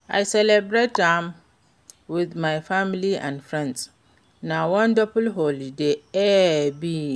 i celebrate am with my family and friends, na wonderful holiday e be.